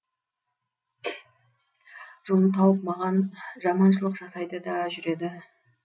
жолын тауып маған жаманшылық жасайды да жүреді